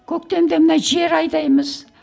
көктемде мына жер айдаймыз